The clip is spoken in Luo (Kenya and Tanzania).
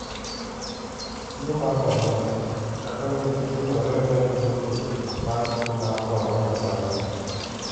tuo ma corona: kaka wuoth hinnyore ne luoro mar tuo ma corona Zanzibar